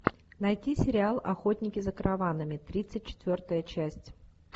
найти сериал охотники за караванами тридцать четвертая часть